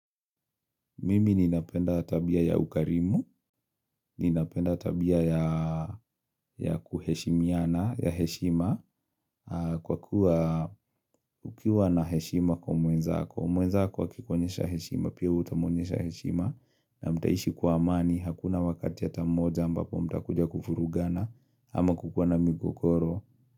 Mimi ninapenda tabia ya ukarimu, ninapenda tabia ya kuheshimiana, ya heshima, kwa kuwa ukiwa na heshima kwa mwenzako. Mwenzako akikuonyesha heshima, pia utamuonyesha heshima, na mtaishi kwa amani, hakuna wakati hata mmoja ambapo mtakuja kuvurugana, ama kukua na migogoro.